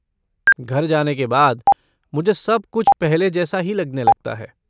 घर जाने के बाद, मुझे सब कुछ पहले जैसा ही लगने लगता है।